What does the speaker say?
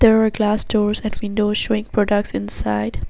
There are glass doors at windows showing products inside.